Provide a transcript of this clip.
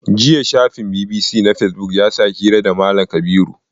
Jiya shafin BBC na fesibuk ya sa hira da Malam Kabiru.